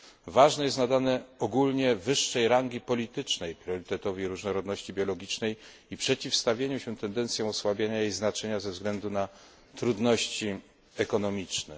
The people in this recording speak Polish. Ważne jest, aby nadać ogólnie wyższą rangę polityczną priorytetowi różnorodności biologicznej i przeciwstawić się tendencjom osłabiania ich znaczenia ze względu na trudności ekonomiczne.